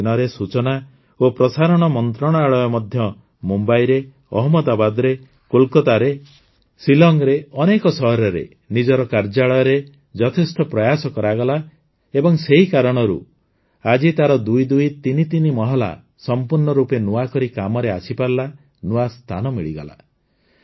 ବିଗତ ଦିନରେ ସୂଚନା ଓ ପ୍ରସାରଣ ମନ୍ତ୍ରଣାଳୟ ମଧ୍ୟ ମୁମ୍ବଇରେ ଅହମଦାବାଦରେ କୋଲକାତାରେ ସିଲଂରେ ଅନେକ ସହରରେ ନିଜର କାର୍ଯ୍ୟାଳୟରେ ଯଥେଷ୍ଟ ପ୍ରୟାସ କରାଗଲା ଏବଂ ସେହି କାରଣରୁ ଆଜି ତାର ଦୁଇଦୁଇ ତିନିତିନି ମହଲା ସଂପୂର୍ଣ୍ଣ ରୂପେ ନୂଆ କରି କାମରେ ଆସିପାରିଲା ନୂଆ ସ୍ଥାନ ମିଳିଗଲା